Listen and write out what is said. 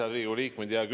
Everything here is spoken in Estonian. Head Riigikogu liikmed!